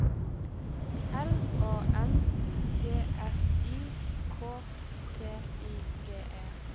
L A N G S I K T I G E